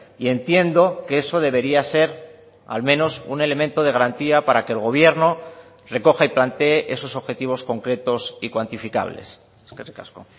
y entiendo que eso debería ser al menos un elemento de garantía para que el gobierno recoja y plantee esos objetivos concretos y cuantificables eskerrik asko